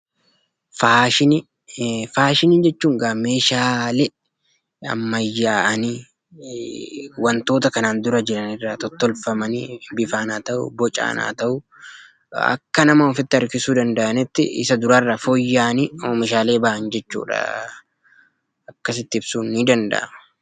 Faashinii jechuun meeshaalee ammayyaa'anii wantoota kanaan dura jiran irraa fooyya'anii bifaan yookiin bocaan akka nama ofitti harkisuu danda'aniin Isa duraarraa fooyya'anii meeshaalee jiran jechuudha.